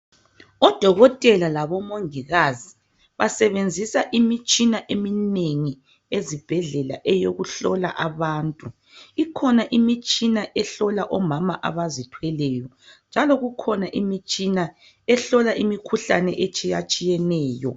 Odokotela labomongikazi basebenzisa imitshina eminengi ezibhedlela eyokuhlola abantu. Ikhona imitshina ehlola omama abazithweleyo njalo kukhona ehlola imikhuhlane etshiyatshiyeneyo